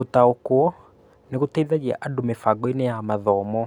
Gũtaũkwo nĩ gũgũteithia andũ mĩbangoinĩ ya mathomo